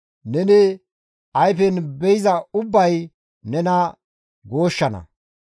Neni ayfen be7iza ubbay nena gooshshana.